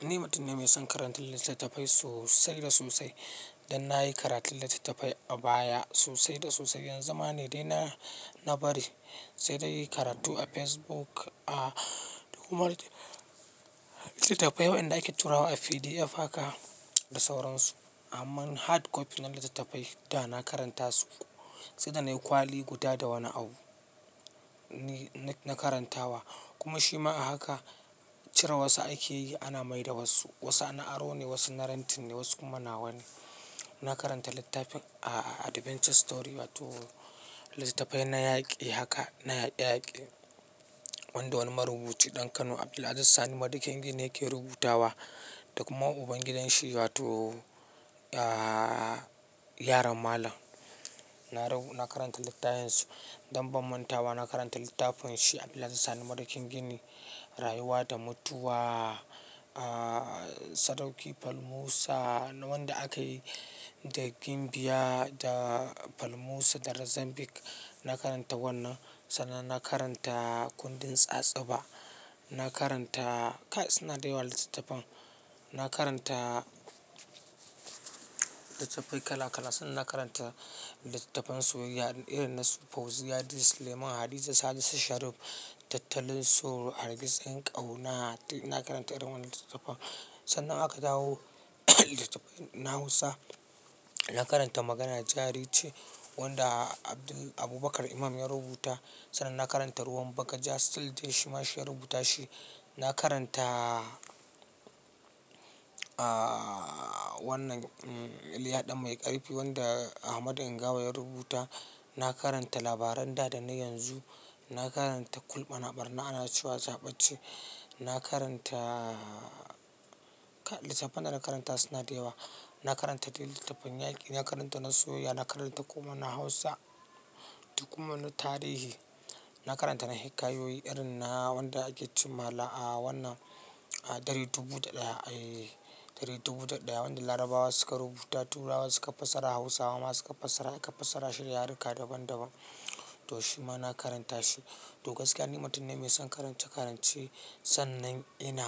Ni mutum ne mai son karanta littattafai sosai da sosai. Dan na yi karatun littattafai a baya sosai da sosai. Yanzu ma ne dai na bari sai da yin karatu a Facebook, a kuma littattafai waɗanda ake tura wa a PDF haka da sauransu. Amma hard copy na littattafai da na karanta su, sai da nayi kwali guda da wani abu na karantawa. Kuma shi ma haka cire wasu ake yi, ana mai da wasu. Wasu ana aro ne, wasu na rantin ne, wasu kuma na wani. Na karanta littafin Adventure Story, wato littattafai na yaƙi haka na yaƙi-yaƙi, wanda wani marubuci ɗan Kano Abdulaziz Sani Madakin gini yake rubutawa da kuma ubangidanshi wato yaron malam. Na karanta littafinsu don banmantawa. Na karanta littafin shi Abdulaziz Sani Madakin gini, rayuwa da mutuwa, sadauki Falmuso wanda aka yi da Gimbiya da Falmuso da rizambik. Na karanta wannan sannan na karanta kundin tsatsuba. Na karanta kai suna da yawa littattafan. Na karanta littattafai kala kala sannan na karanta littattafan soyayya irin na Fauziya, Yusuf Suleiman, Hadiza Sani Shariff, tattalin tsoro, hargitsin ƙauna. Na karanta irin wannan littattafa. Sannan aka dawo littattafai na Hausa. Na karanta Maganar Jariri ce wanda Abubakar Imam ya rubuta. Sannan na karanta Ruwan Bagaja Still de Shima shi ya rubuta shi. Na karanta wannan Iliya Ɗan Mai ƙarfi wanda Ahmad Ingawa ya rubuta. Na karanta Labaran da dana yanzu. Na karanta Kulɓana ɓarna ana cewa zaɓacce. Na karanta littattafan da na karanta suna da yawa. Na karanta dai littattafan yaƙi, na karanta na soyayya, na karanta kuma na Hausa da kuma na tarihi. Na karanta na hikayoyi irin na wanda ake cin mala a wannan ɗare dubu da ɗaya, wanda Larabawa suka rubuta, turawa suka fassara Hausawa ma suka fassara aka fassara shi yaruka daban daban. To shi ma na karanta shi. To gaskiya ni mutum ne mai son karance-karance sannan ina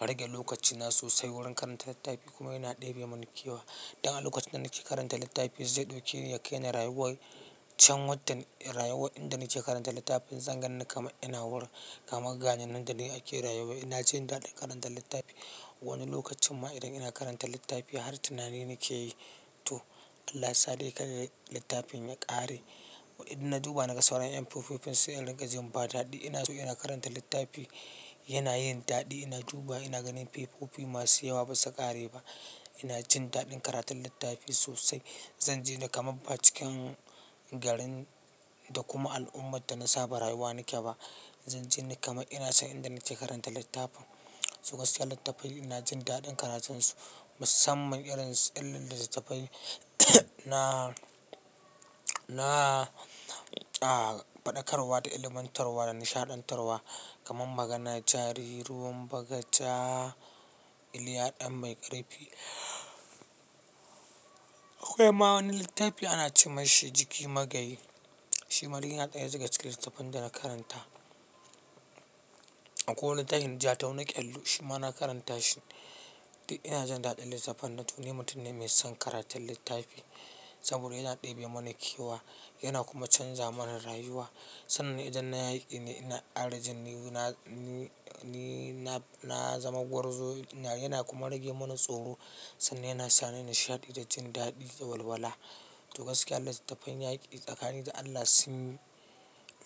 rage lokacina sosai wurin karanta littafi kuma yana ɗebe mini kewa. Dan a lokacin da nake karanta littafi zai ɗauke ni ya kai ni rayuwar can wadda rayuwar inda nake karanta littafin zan ganni kama ina wurin kamar gane nan da ni ake rayuwa. Ina jin daɗin karanta littafi. Wani lokacin ma idan ina karanta littafi har tunani nake yi to Allah sa dai ka ra littafin ya ƙare. Idan na duba na ga sauran 'yan fuffufin sun yi rigar jimba daɗi ina so ina karanta littafi yana yin daɗi. Ina duba ina ganin fefofi masu yawa ba su ƙare ba. Ina jin daɗin karatun littafi sosai. Zan ji ni kaman ba cikin garin da kuma al'ummar da na saba rayuwa nake ba. Zan ji na kama ina son inda nake karanta littafin. To gaskiya littattafai ina jin daɗin karatunsu musamman irin su littattafai na na faɗakarwa da ilmantarwa da nishaɗantarwa kamar Maganar Jarirai, Ruwan Bagaja, Iliya ɗan Mai ƙarfi. Akwai ma wani littafi ana ce masa Jiki Magayi. Shi ma duk yana ɗaya duga cikin littattafan da na karanta. Akwai wani littafin jatau na ƙyallu shi ma na karanta shi. Duk ina jin daɗin littattafan to ni mutum ne mai son karatun littafi saboda yana ɗebe mini kewa, yana kuma canza mana rayuwa. Sannan idan na ai ne ina karaji ni na zama gwarzo yana kuma rage mana tsoro sannan yana sa ni nishaɗi da jin daɗi da walwala. To gaskiya littattafan yaƙi tsakanin da Allah sun yi,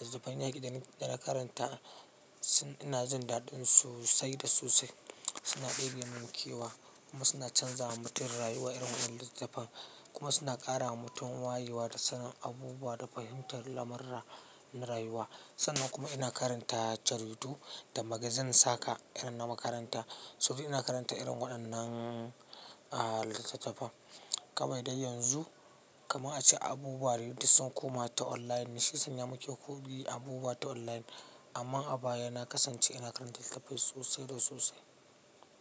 littattafan yaƙi da na karanta suna ina jin daɗin sosai da sosai. Suna ɗebe muni kewa kuma suna canza mutum rayuwa irin waɗannan littattafan kuma suna ƙara wa mutum wayewa da sanin abubuwa da fahimtar lamurra na rayuwa. Sannan kuma ina karanta jaridu da magazin Saƙa irin na makaranta saboda ina karanta irin waɗannan littattafa. Kawai dai yanzu kamar an ce abubuwa duk sun koma ta online na shi sanya muke ko bi abubuwa ta online amma a baya na kasance ina karanta littafi sosai da sosai.